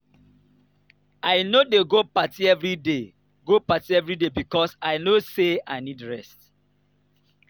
i no dey go party everyday go party everyday because i know say i need rest.